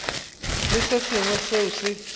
le se sengwe seo se